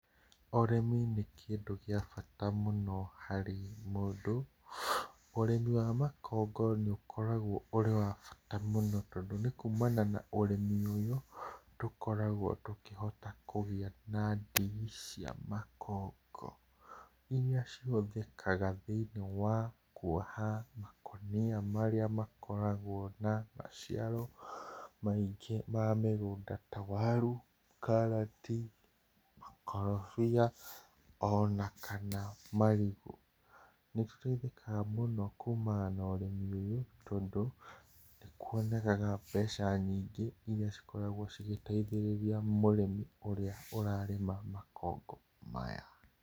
Ũrĩmi nĩ kĩndũ gĩa bata mũno harĩ mũndũ, ũrĩmi wa makongo nĩ ũkoragwo ũrĩ wa bata mũno tondũ nĩ kũmana na ũrĩmi ũyũ, tũkoragwo tũkĩhota kũgĩa na ndigi cia makongo, irĩa cihũthĩkaga thĩinie wa kuoha makũnia marĩa makoragwo na maciaro maingĩ ma mũgũnda ta warũ, karati, makorobia, ona kana marigũ. Nĩ tũteithĩkaga mũno kũmana na ũrĩmi ũyũ, tondũ kwonekega mbeca nyingĩ irĩa cingĩkoragwo igĩteithĩrĩria mũrĩmi ũrarĩma makongo maya.